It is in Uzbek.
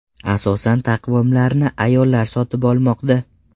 Asosan taqvimlarni ayollar sotib olmoqda.